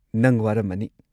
ꯅꯪ ꯋꯥꯔꯝꯃꯅꯤ꯫